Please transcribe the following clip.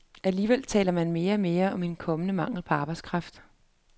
Alligevel taler man mere og mere om en kommende mangel på arbejdskraft.